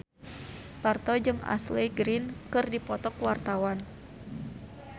Parto jeung Ashley Greene keur dipoto ku wartawan